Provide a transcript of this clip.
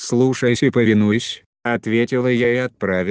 слушаюсь и повинуюсь ответила я и отправилась в свою комнату